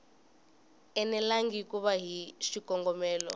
enelangi ku ya hi xikongomelo